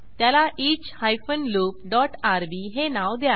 त्याला each hyphen loop dot RB हे नाव द्या